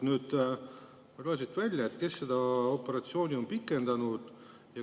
Ma ei loe siit välja, kes seda operatsiooni pikendas.